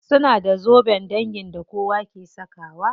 Suna da zoben dangi da kowa ke sakawa.